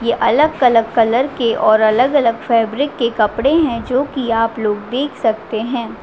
ये अलग -अलग कलर के और अलग- अलग फैब्रिक के कपड़े है जोकि आप लोग देख सकते हैं।